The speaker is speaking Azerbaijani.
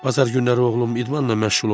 Bazar günləri oğlum idmanla məşğul olur.